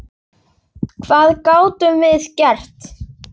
Hvað gátum við gert?